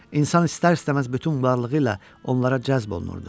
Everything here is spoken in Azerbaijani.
İnsan istər-istəməz bütün varlığı ilə onlara cəzb olunurdu.